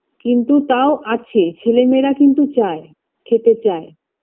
কিন্তু তাও আছে ছেলে মেয়েরা কিন্তু চায় খেতে চায়